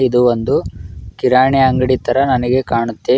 ಇದು ಒಂದು ಕಿರಾಣಿ ಅಂಗಡಿ ತರ ನನಗೆ ಕಾಣುತ್ತೆ.